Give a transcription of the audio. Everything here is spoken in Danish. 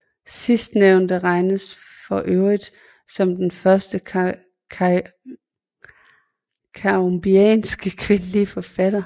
Sidstnævnte regnes for øvrigt som den første cambodjanske kvindelige forfatter